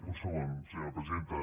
un segon senyora presidenta